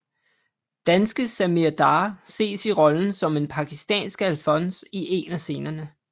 Danske Sami Darr ses i rollen som en pakistansk alfons i en af scenerne